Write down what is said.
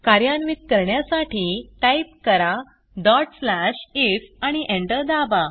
कार्यान्वित करण्यासाठी टाईप करा if आणि एंटर दाबा